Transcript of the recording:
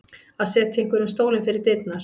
Að setja einhverjum stólinn fyrir dyrnar